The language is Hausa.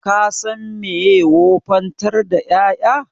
Ka san meye wofantar da ƴaƴa